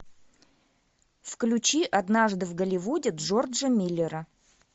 включи однажды в голливуде джорджа миллера